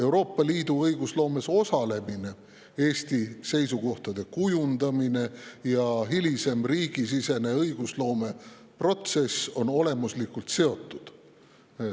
Euroopa Liidu õigusloomes osalemine, Eesti seisukohtade kujundamine ja hilisem riigisisene õigusloomeprotsess on olemuslikult seotud.